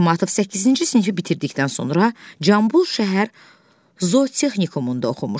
Aytmatov 8-ci sinifi bitirdikdən sonra Cambul şəhər zootexnikumunda oxumuşdu.